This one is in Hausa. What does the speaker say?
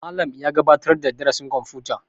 Malam ya gabatar da darasin kwamfuta